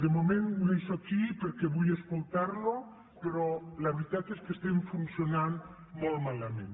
de moment ho deixo aquí perquè vull escoltarlo però la veritat és que estem funcionant molt malament